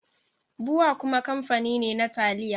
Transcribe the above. Bua kuma kamfani ne na taliya.